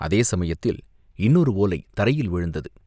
அதே சமயத்தில் இன்னொரு ஓலை தரையில் விழுந்தது.